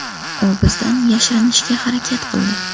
U bizdan yashirinishga harakat qildi.